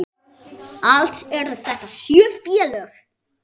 Alls eru þetta sjö félög.